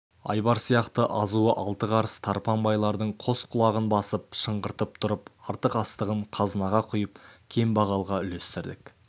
айбар сияқты азуы алты қарыс тарпаң байлардың қос құлағын басып шыңғыртып тұрып артық астығын қазынаға құйып кембағалға үлестірдік